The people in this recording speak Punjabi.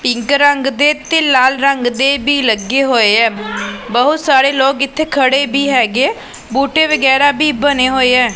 ਪਿੰਕ ਰੰਗ ਦੇ ਤੇ ਲਾਲ ਰੰਗ ਦੇ ਵੀ ਲੱਗੇ ਹੋਏ ਐ ਬਹੁਤ ਸਾਰੇ ਲੋਕ ਇੱਥੇ ਖੜੇ ਵੀ ਹੈਗੇ ਬੂਟੇ ਵਗੈਰਾ ਵੀ ਬਣੇ ਹੋਏ ਐ।